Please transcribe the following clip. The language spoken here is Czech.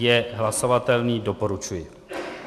Je hlasovatelný, doporučuji.